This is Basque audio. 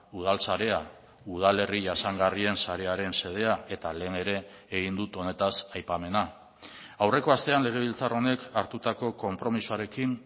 udal sarea udalerri jasangarrien sarearen xedea eta lehen ere egin dut honetaz aipamena aurreko astean legebiltzar honek hartutako konpromisoarekin